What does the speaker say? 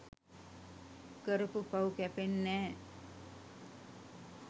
කරපු පව් කැපෙන්නැ‍.